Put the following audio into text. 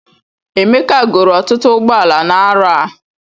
Emeka goro ọtụtụ ụgbọala n'arọ a